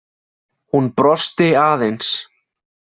Hún brosti aðeins.